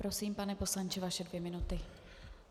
Prosím, pane poslanče, vaše dvě minuty.